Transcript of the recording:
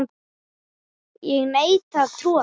Ég neita að trúa þessu!